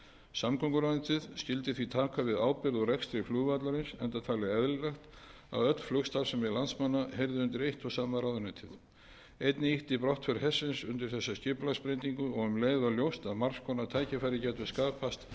samgönguráðuneytið skyldi því taka við ábyrgð og rekstri flugvallarins enda talið eðlilegt að öll flugstarfsemi landsmanna heyrði undir eitt og sama ráðuneytið einnig ýtti brottför hersins undir þessa skipulagsbreytingu og um leið var ljóst að margs konar tækifæri gætu skapast til